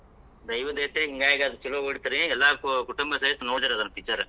ದೈವದ್ ಐತ್ರಿ ಹಿಂಗಾಗಿ ಆದ್ ಚುಲೋ ಓಡಿತ್ರಿ, ಎಲ್ಲಾ ಕುಟುಂಬ ಸಮೇತ ನೋಡಿದ್ವಿರಿ ಆದ್ picture .